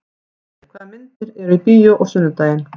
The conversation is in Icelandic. Jesper, hvaða myndir eru í bíó á sunnudaginn?